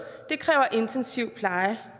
det kræver intensiv pleje det